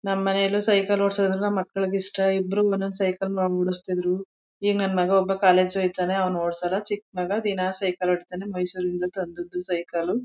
ನಮ್ ಮನೇಲೂ ಸೈಕಲ್ ಓಡ್ಸೋದು ಅಂದ್ರೆ ನಮ್ ಮಕ್ಕಳಿಗ್ ಇಷ್ಟ ಇಬ್ರು ಒನ್ನೊಂದ್ ಸೈಕಲ್ ಓಡಿಸ್ತಿದ್ರು ಈಗ್ ನನ್ ಮಗ ಒಬ್ಬ ಕಾಲೇಜು ಹೊಯ್ತಾನೆ ಅವ್ನ್ ಓಡ್ಸಲ್ಲ ಚಿಕ್ ಮಗ ದಿನಾ ಸೈಕಲ್ ಹೊಡೀತಾನೆ ಹೊಡೀತಾನೆ ಮೈಸೊರಿಂದ ತಂದದ್ದು ಸೈಕಲ್ -